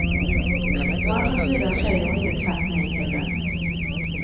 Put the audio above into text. Å andra sidan säger hon inte tvärt nej heller.